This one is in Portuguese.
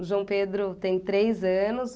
O João Pedro tem três anos.